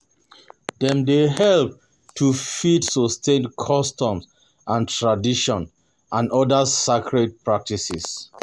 Dem dey help to fit sustain customs and tradition and oda sacred practices